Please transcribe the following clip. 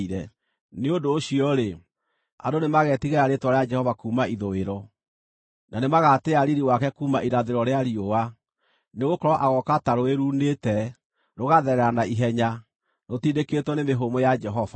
Nĩ ũndũ ũcio-rĩ, andũ nĩmagetigĩra rĩĩtwa rĩa Jehova kuuma ithũĩro, na nĩmagatĩĩa riiri wake kuuma irathĩro rĩa riũa. Nĩgũkorwo agooka ta rũũĩ ruunĩte, rũgatherera na ihenya, rũtindĩkĩtwo nĩ mĩhũmũ ya Jehova.